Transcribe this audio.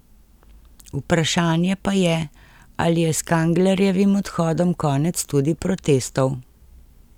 Vprašanje pa je, ali je s Kanglerjevim odhodom konec tudi protestov.